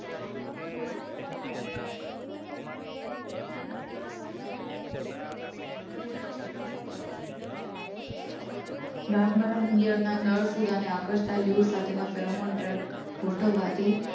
ગાભમારાની ઇયળના નર ફૂદાંને આકર્ષતા ડાયલ્યુડ સાથેના ફેરોમેન ટ્રેપ ગોઠવવાથી